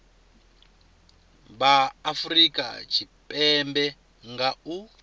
vha afurika tshipembe nga u